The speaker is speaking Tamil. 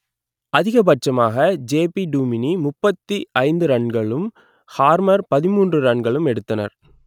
அதிகப்பட்சமாக ஜேபி டுமினி முப்பத்தி ஐந்து ரன்களும் ஹார்மர் பதின்மூன்று ரன்களும் எடுத்தனர்